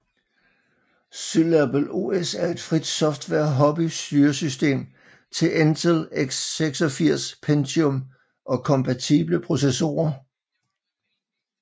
Syllable OS er et frit software hobby styresystem til Intel x86 Pentium og kompatible processorer